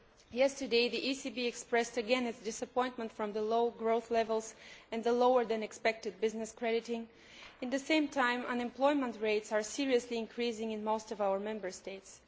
Yesterday the ECB again expressed its disappointment at the low growth levels and the lower than expected business crediting. At the same time unemployment rates are greatly increasing in most of our Member States.